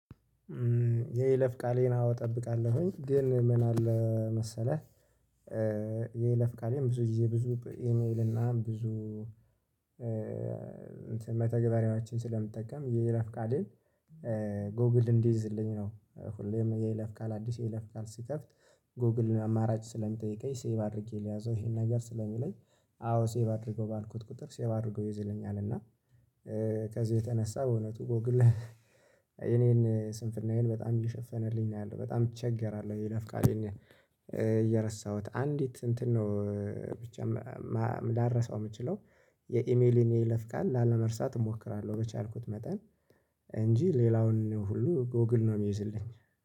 የይለፍ ቃሌን አዎ እጠብቃለሁኝ፤ ግን ምን አለ መሰለህ የይለፍ ቃሌን ብዙ ጊዜ ብዙ ኢሜል እና ብዙ እንትን መተግበሪያዎችን ስለምጠቀም የይለፍቃሌን ጎግል እንዲይዝልኝ ነው ሁሌም የይለፍቃል አዲስ የይለፍቃል ስከፍት ጎግልን አማራጭ ስለሚጠይቀኝ ሴቭ አድርጌ ልያዘው ይሄን ነገር ስለሚለኝ አዎ ሴቭ አድርገው ባልኩት ቁጥር ሴቭ አድርጎ ይይዝልኛል እና ከዚህ የተነሳ በእውነቱ ጎግል የኔን ስንፍናዬን በጣም እየሸፈነልኝ ነው ያለው በጣም እቸገራለሁ የይለፍቃሌን እየረሳሁት። አንዲት እንትን ነው ብቻ ማ ማ ላረሳው የምችለው የኢሜሌን የይለፍ ቃል ላለመርሳት እሞክራለሁ በቻልኩት መጠን እንጂ ሌላውን ሁሉ ጎግል ነው የሚይዝልኝ።